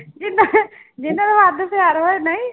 ਜਿਹਨਾਂ ਜਿਹਨਾਂ ਦਾ ਵੱਧ ਪਿਆਰ ਹੋਵੇ ਨਹੀਂ